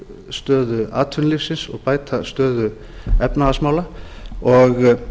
stöðu atvinnulífsins og bæta stöðu efnahagsmála og